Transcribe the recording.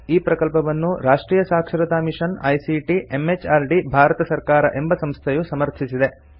ಈ ಪ್ರಕಲ್ಪವನ್ನು ರಾಷ್ಟ್ರಿಯ ಸಾಕ್ಷರತಾ ಮಿಷನ್ ಐಸಿಟಿ ಎಂಎಚಆರ್ಡಿ ಭಾರತ ಸರ್ಕಾರ ಎಂಬ ಸಂಸ್ಥೆಯು ಸಮರ್ಥಿಸಿದೆ